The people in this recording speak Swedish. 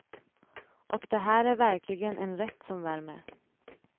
Och det här är verkligen en rätt som värmer.